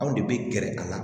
Anw de bɛ gɛrɛ a la